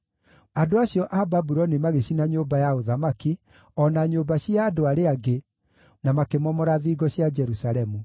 Andũ acio a Babuloni magĩcina nyũmba ya ũthamaki, o na nyũmba cia andũ arĩa angĩ, na makĩmomora thingo cia Jerusalemu.